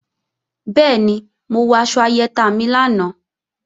Bẹ́ẹ̀ni, mo wọ aṣọ ayẹta mi lánàá